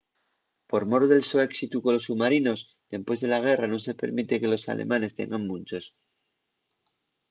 por mor del so éxitu colos submarinos dempués de la guerra nun se permite que los alemanes tengan munchos